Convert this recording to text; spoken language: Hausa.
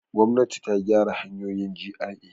Gwamnati ta gyara hanyoyin GRA.